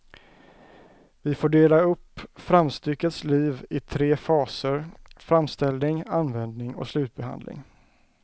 Vi får dela upp framstyckets liv i tre faser, framställning, användning och slutbehandling.